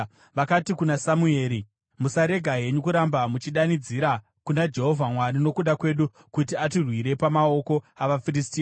Vakati kuna Samueri, “Musarega henyu kuramba muchidanidzira kuna Jehovha Mwari nokuda kwedu, kuti atirwire pamaoko avaFiristia.”